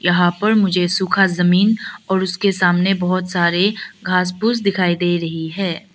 यहां पर मुझे सुखा जमीन और उसके सामने बहुत सारे घास फूस दिखाई दे रही हैं।